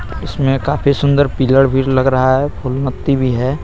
इसमें काफी सुंदर पिल्लर भी लग रहा है फूल पत्ती भी है.